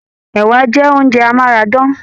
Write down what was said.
Ẹ̀wà jẹ oúnjẹ amárádán.